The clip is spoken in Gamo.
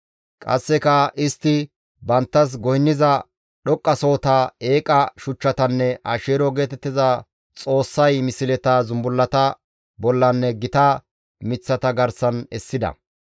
Qasseka istti banttas goynniza dhoqqasohota, eeqa shuchchatanne Asheero geetettiza xoossay misleta zumbullata bollanne gita miththata garsan essida.